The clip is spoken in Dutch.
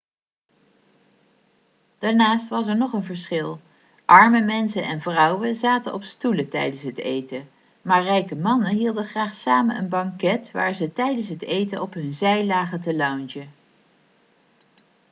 daarnaast was er nog een verschil arme mensen en vrouwen zaten op stoelen tijdens het eten maar rijke mannen hielden graag samen een banket waar ze tijdens het eten op hun zij lagen te loungen